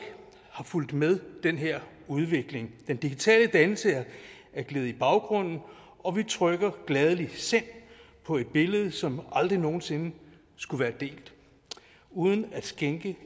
har fulgt med den her udvikling den digitale dannelse er gledet i baggrunden og vi trykker gladelig selv på et billede som aldrig nogen sinde skulle være delt uden at skænke